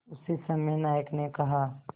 उसी समय नायक ने कहा